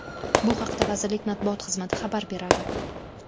Bu haqda vazirlik matbuot xizmati xabar beradi .